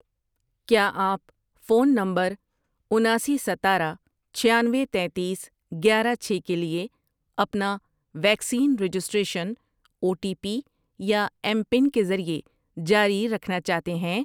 کیا آپ phone number اناسی، ستارہ، چھیانوے، تینتیس، گیارہ، چھ ، کے لیے اپنا vaccine registration O T P یا ایم پن کے ذریعے جاری رکھنا چاہتے ہیں؟